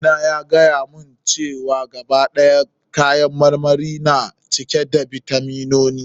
Eh, malami na yace, gaba ɗaya kayan marmari na cike da bitaminoni.